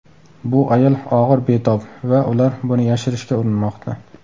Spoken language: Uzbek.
Bu ayol og‘ir betob va ular buni yashirishga urinmoqda.